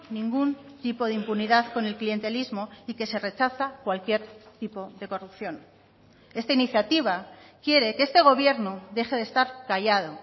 ningún tipo de impunidad con el clientelismo y que se rechaza cualquier tipo de corrupción esta iniciativa quiere que este gobierno deje de estar callado